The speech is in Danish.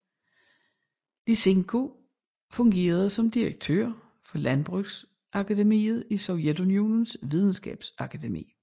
Lysenko fungerede som direktør for Landbrugsakademiet i Sovjetunionens Videnskabsakademi